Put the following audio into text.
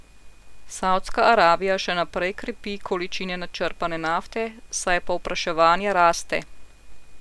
Savdska Arabija še naprej krepi količine načrpane nafte, saj povpraševanje raste.